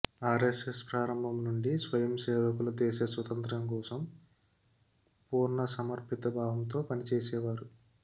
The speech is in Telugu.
ఆర్ఎస్ఎస్ ప్రారంభం నుండీ స్వయం సేవకులు దేశ స్వాతంత్య్రం కోసం పూర్ణసమర్పిత భావంతో పనిచేసేవారు